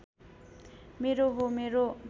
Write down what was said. मेरो हो मेरो